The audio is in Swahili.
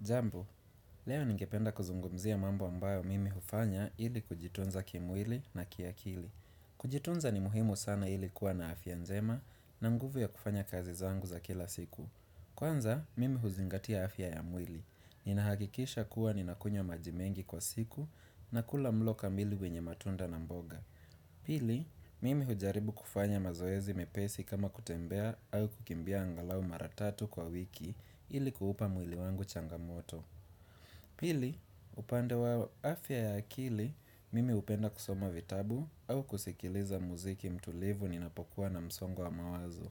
Jambo, leo ningependa kuzungumzia mambo ambayo mimi hufanya ili kujitunza kimwili na kiakili. Kujitunza ni muhimu sana ili kuwa na afya njema na nguvu ya kufanya kazi zangu za kila siku. Kwanza, mimi huzingatia afya ya mwili. Ninahakikisha kuwa ninakunywa maji mengi kwa siku na kula mlo ka mili wenye matunda na mboga. Pili, mimi hujaribu kufanya mazoezi mepesi kama kutembea au kukimbia angalau maratatu kwa wiki ili kuhupa mwili wangu changamoto Pili, upande wa afya ya akili mimi upenda kusoma vitabu au kusikiliza muziki mtulivu ninapokuwa na msongo wa mawazo